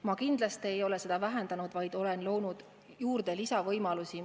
Ma kindlasti ei ole seda vähendanud, vaid olen loonud juurde lisavõimalusi.